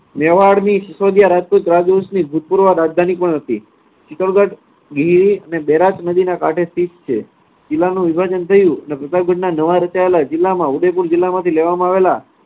મેવાડની સીસોદીયા રાજપૂત રાજવંશની ભૂતપૂર્વ રાજધાની પણ હતી. ચિત્તોડગઢ અને બૈરાજ નદીના કાંઠે સ્થિત છે. જિલ્લાનું વિભાજન થયું અને પ્રતાપગંજના નવા રચાયેલા જિલ્લામાં ઉદયપુર જિલ્લામાંથી લેવામાં આવેલા